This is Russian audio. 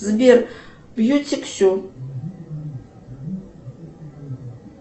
сбер бьютик сю